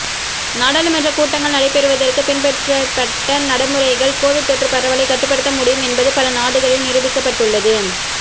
நாடாளுமன்ற கூட்டங்கள் நடைபெறுவதற்கு பின்பற்றப்பட்ட நடைமுறைகள் கோவிட் தொற்று பரவலை கட்டுப்படுத்த முடியும் என்பது பல நாடுகளில் நிருபிக்கப்பட்டுள்ளது